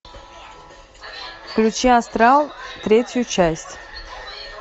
включи астрал третью часть